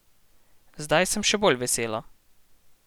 Zdaj sem še bolj vesela.